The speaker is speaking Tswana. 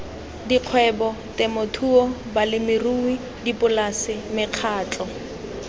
dikgwebo temothuo balemirui dipolase mekgatlho